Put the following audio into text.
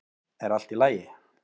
Er allt í lagi?